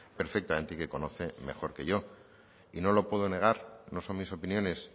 perfectamente y que conoce mejor que yo y no lo puedo negar no son mis opiniones